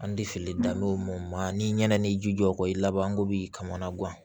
An tɛ fili dan ni ɲan ni ji jɔko i labanko b'i kama guwa